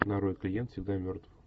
нарой клиент всегда мертв